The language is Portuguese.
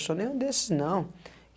Eu sou nenhum desses não.